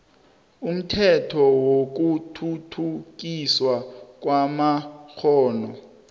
umthetho wokuthuthukiswa kwamakghono